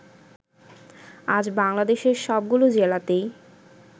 আজ বাংলাদেশের সবগুলো জেলাতেই